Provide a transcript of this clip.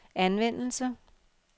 anvendelse